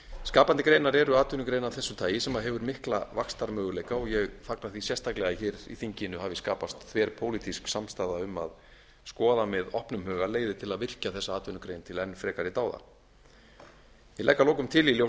skapandi greinar eru atvinnugreinar af þessu tagi sem hefur mikla vaxtarmöguleika og ég fagna því sérstaklega að í þinginu hafi skapast þverpólitísk samstaða um að skoða með opnum huga leiðir til að virkja þessa atvinnugrein til enn frekari dáða ég legg að lokum til í ljósi þess